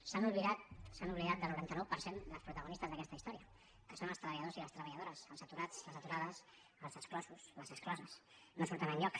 s’han oblidat se n’han oblidat del noranta nou per cent dels protagonistes d’aquesta història que són els treballadors i les treballadores els aturats i les aturades els exclosos i les excloses no surten enlloc